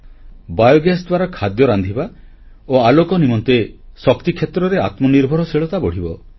biogas ଦ୍ୱାରା ଖାଦ୍ୟ ରାନ୍ଧିବା ଓ ଆଲୋକ ନିମନ୍ତେ ଶକ୍ତିକ୍ଷେତ୍ରରେ ଆତ୍ମନିର୍ଭରଶୀଳତା ବଢ଼ିବ